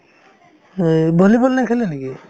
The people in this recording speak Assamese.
এই, volleyball নেখেলে নেকি ?